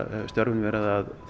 störfin verið að